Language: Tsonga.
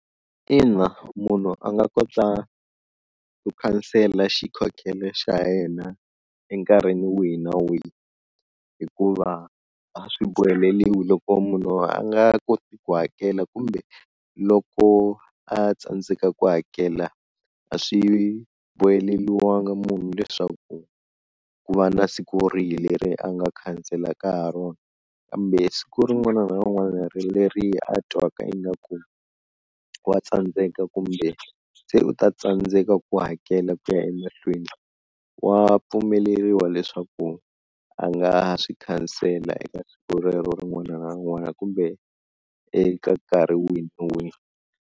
Ina munhu a nga kota ku khansela xikhokhelo xa yena enkarhini wihi na wihi hikuva a swi boheleliwi, loko munhu a nga koti ku hakela kumbe loko a tsandzeka ku hakela a swi boheleliwanga munhu leswaku ku va na siku rihi leri a nga khanselaka ha rona, kambe siku rin'wana na rin'wana ra leri a twaka ingaku wa tsandzeka kumbe se u ta tsandzeka ku hakela ku ya emahlweni, wa pfumeleriwa leswaku a nga swi khansela eka siku rero rin'wana na rin'wana kumbe eka nkarhi wihi na wihi.